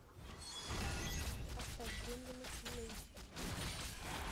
поставь гремлины фул эйч ди